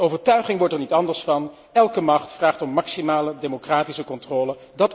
De overtuiging wordt er niet anders door, elke macht vraagt om maximale democratische controle.